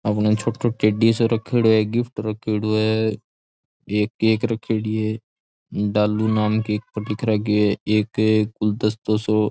आपने छोटी छोटी टैडी सो रखेड़ो है गिफ्ट राखेड़ो है एक केक रखेड़ी है डालू नाम केक पर लिख राख्यो है एक गुलदस्तो सो --